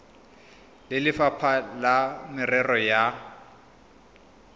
le lefapha la merero ya